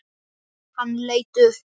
Hann leit upp.